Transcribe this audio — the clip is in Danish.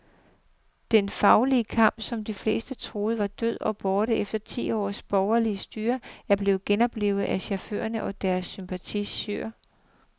Den faglige kamp, som de fleste troede var død og borte efter ti års borgerligt styre, er blevet genoplivet af chaufførerne og deres sympatisører.